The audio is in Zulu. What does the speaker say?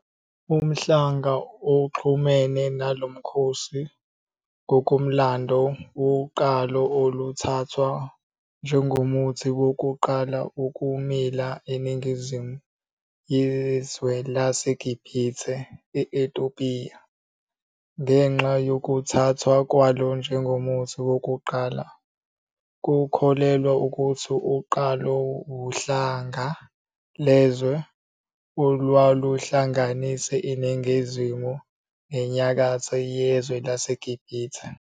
UMhlanga oxhumene nalo Mkhosi ngokomlando wuqalo oluthathwa njengomuthi wokuqala ukumila eNingizimu yezwe laseGibhithe eTopiya. Ngenxa yokuthathwa kwalo njengomuthi wokuqala, kukholelwa ukuthi uqalo wuhlanga lezwe olwaluhlanganisa iNingizimu neNyakatho yezwe laseGibhithe.